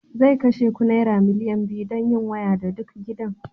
zai kashe ku naira miliyan biyu don yin waya da duk gidan